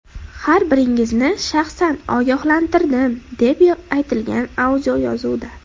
Har biringizni shaxsan ogohlantirdim”, deb aytilgan audioyozuvda.